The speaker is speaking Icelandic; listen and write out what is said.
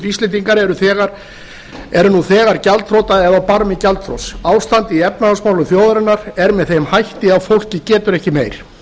íslendingar eru nú þegar gjaldþrota eða á barmi gjaldþrots ástandið í efnahagsmálum þjóðarinnar er með þeim hætti að fólkið getur ekki meir